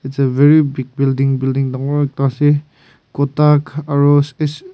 it's a very big building building dangor ekta ase Kotak aro spesic--